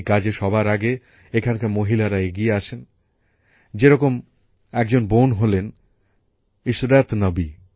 এই কাজে সবার আগে এখানকার মহিলারা এগিয়ে আসেন যে রকম একজন বোন হলেন ইশরাত নবী